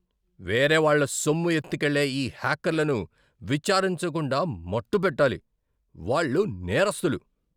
వేరేవాళ్ళ సొమ్ము ఎత్తుకెళ్లే ఈ హ్యాకర్లను విచారించకుండా మట్టుపెట్టాలి. వాళ్ళు నేరస్తులు.